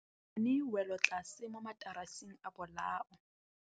Re bone wêlôtlasê mo mataraseng a bolaô.